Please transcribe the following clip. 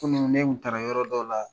Kunun ne tun taara yɔrɔ dɔ la